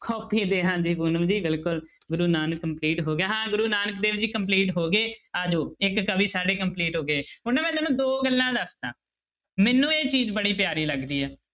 Copy ਤੇ ਹਾਂਜੀ ਪੂਨਮ ਜੀ ਬਿਲਕੁਲ ਗੁਰੂ ਨਾਨਕ complete ਹੋ ਗਿਆ ਹਾਂ ਗੁਰੂ ਨਾਨਕ ਦੇਵ ਜੀ complete ਹੋ ਗਏ, ਆ ਜਾਓ ਇੱਕ ਕਵੀ ਸਾਡੇ complete ਹੋ ਗਏ ਹੁਣ ਮੈਂ ਨਾ ਤੁਹਾਨੂੰ ਦੋ ਗੱਲਾਂ ਦੱਸਦਾਂ, ਮੈਨੂੰ ਇਹ ਚੀਜ਼ ਬੜੀ ਪਿਆਰੀ ਲੱਗਦੀ ਹੈ।